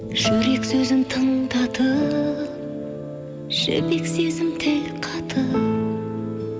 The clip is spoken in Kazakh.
жүрек сөзін тыңдатып жібек сезім тіл қатып